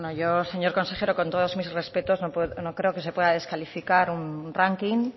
yo señor consejero con todos mis respetos no creo que se puede descalificar un ranking